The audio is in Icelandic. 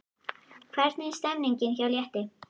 Hvernig er stemningin hjá Létti?